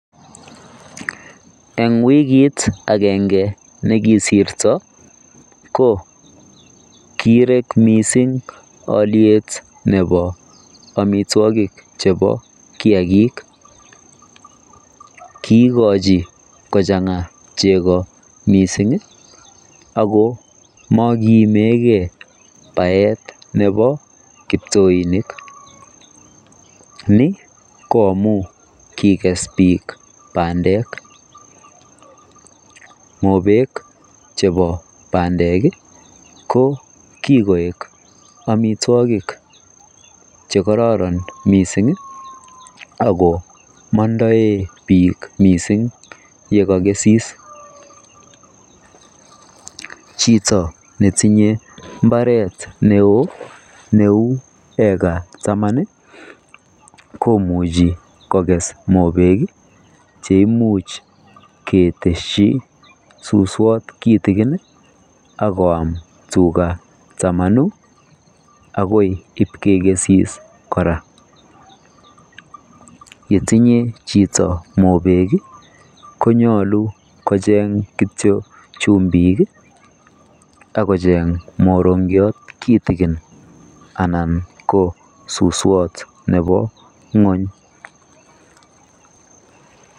Eng wikit akenge nekisirto ko kirek mising alyet nepo amitwokik chepo kiakik kiikochi kochang'a cheko mising ako mokiimegei baet nepo kiptoinik ni ko amu kikes biik bandek. Mopek chepo bandek ko kikoek amitwokik chekororon mising ako mondoe biik mising yekakesis. Chito netinye mbaret neo neu eka taman komuchi kokes mopek cheimuch keteshi suswot kitikin akoam tuga tamanu akoi ipkekesis kora. Yetinye chito mopek konyolu kocheng kityo chumbik akocheng morong'iot kitikin anan ko suswot nepo ng'uny.